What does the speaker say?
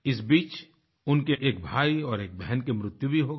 इस बीच उनके एक भाई और एक बहन की मृत्यु भी हो गई